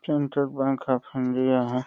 तुम तो हो।